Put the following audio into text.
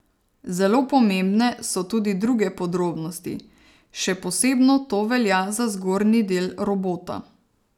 Zelo pomembne so tudi druge podrobnosti, še posebno to velja za zgornji del robota.